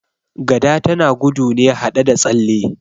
Gada tana gudu ne haɗe da tsalle